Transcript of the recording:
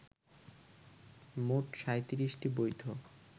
মোট ৩৭টি বৈধ